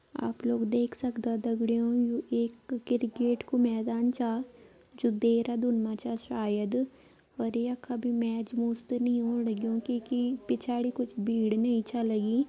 आप लोग देख सक्दा दगड़ियों यू एक क्रिकेट कू मैदान चा जू देहरादून मा छा शायद अर यख अभी मैच मुच त नी होण लग्युं कैकी कुछ पिछाड़ी भीड़ नी छा लगीं।